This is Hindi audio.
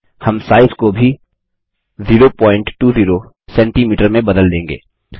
हम साइज़ को भी 020सीएम में बदल देंगे